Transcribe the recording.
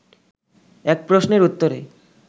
এক প্রশ্নের উত্তরে